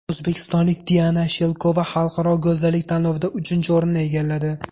O‘zbekistonlik Diana Shelkova xalqaro go‘zallik tanlovida uchinchi o‘rinni egalladi.